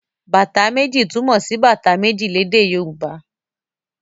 Bàtá méjì' túmọ̀ sí bàtà méjì lédè Yorùbá.